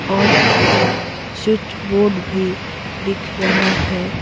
और इसमें switch board भी दिख रहा है।